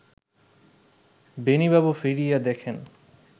বেণীবাবু ফিরিয়া দেখেন